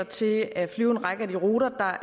til at flyve en række af de ruter